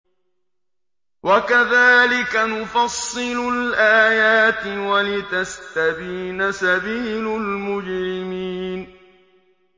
وَكَذَٰلِكَ نُفَصِّلُ الْآيَاتِ وَلِتَسْتَبِينَ سَبِيلُ الْمُجْرِمِينَ